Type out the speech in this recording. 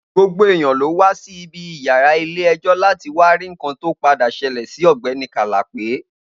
Gbogbo eyan ló wa Si ibi iyara ile ejo lati wa ri nkan to pade sele Si ogbeni Kalape